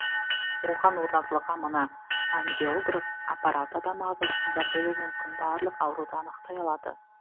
оған орнатылған мына ангиограф аппараты адам ағзасында болуы мүмкін барлық ауруды анықтай алады